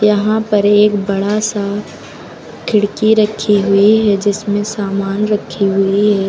यहां पर एक बड़ा सा खिड़की रखी हुई है जिसमें सामान रखी हुई है।